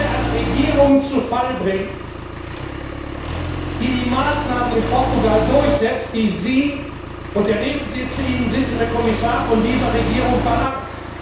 nun eine Regierung zu Fall bringt, die die Maßnahmen in Portugal durchsetzt, die Sie und der neben Ihnen sitzende Kommissar von dieser Regierung verlangen.